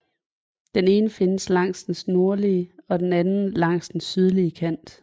Den ene findes langs dens nordlige og den anden langs den sydlige kant